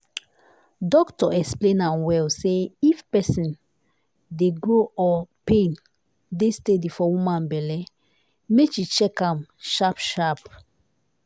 doctor explain am well say if something dey grow or pain dey steady for woman belle make she check am sharp sharp.